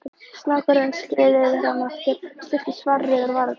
Snákurinn skreið yfir hann aftur, sleikti svarrauðar varirnar.